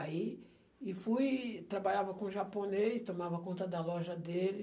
Aí, e fui, trabalhava com japonês, tomava conta da loja dele.